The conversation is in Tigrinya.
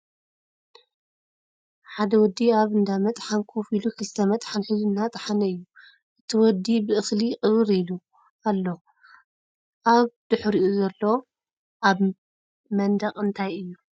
ሓደ ወዲ ኣብ እንዳ መጥሓን ኮፍ ኢሉ ክልተ መጥሓን ሒዙ እናጠሓነ እዩ እቲ ወዲ ብእክሊ ቅብር ኢሉ ኣሎ ኣብ ድሕሪኡ ዘሎ ኣብ መንደቅ እንታይ እዩ ?